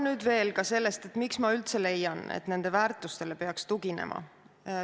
Nüüd veel ka sellest, miks ma üldse leian, et nendele väärtustele peaks tuginema.